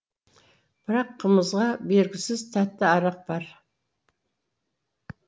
бірақ қымызға бергісіз тәтті арақ бар